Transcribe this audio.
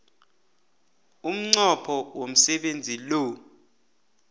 umnqopho womsebenzi lo